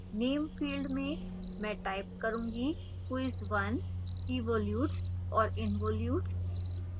name field में मैं type करूँगी quiz 1evolutes and involutes